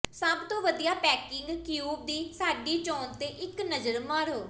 ਸਭ ਤੋਂ ਵਧੀਆ ਪੈਕਿੰਗ ਕਿਊਬ ਦੀ ਸਾਡੀ ਚੋਣ ਤੇ ਇੱਕ ਨਜ਼ਰ ਮਾਰੋ